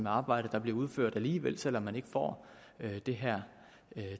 arbejde der bliver udført alligevel selv om man ikke får det her